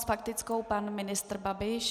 S faktickou pan ministr Babiš.